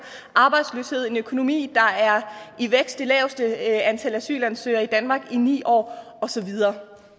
arbejdsløshed og en økonomi der er i vækst vi laveste antal asylansøgere i danmark i ni år og så videre